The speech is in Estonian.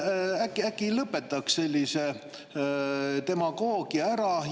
Äkki lõpetaks sellise demagoogia ära?